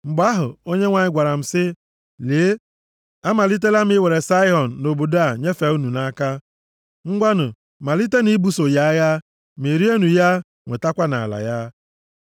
Mgbe ahụ, Onyenwe anyị gwara m sị, “Lee, amalitela m iwere Saịhọn na obodo a nyefee unu nʼaka. Ngwanụ, malitenụ ibuso ya agha! Merienụ ya, nwetakwanụ ala ya.”